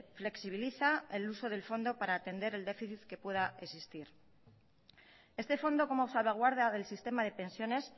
flexibiliza el uso del fondo para atender el déficit que pueda existir este fondo como salvaguarda del sistema de pensiones